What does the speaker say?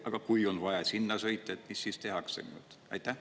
Aga kui on vaja sinna sõita, mis siis tehakse?